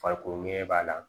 Farikolo mɛn b'a la